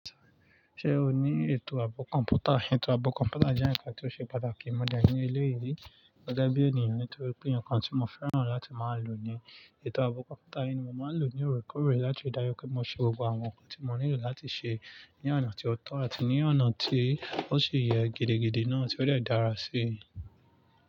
Ṣé o ní ètò ààbò kọ̀mpútà? Ètò ààbò kọ̀mpútà jẹ́ ǹkan tí ó ṣe pàtàkì mọ̀ de ní eleyìí ri, gege bí ènìyàn nítorí pé ǹkan tí mo fẹ́ràn láti máa lò ni ètò ààbò kọ̀mpútà yìí ni mo máa ń lò ní òrekoore láti ri daju pé mo ṣe gbogbo àwọn nǹkan tí mo nílò láti ṣe ní ọ̀nà tí ó tọ́ àti ní ọ̀nà tí ó ṣi yẹ gidigidi náà tí ó de dára sí.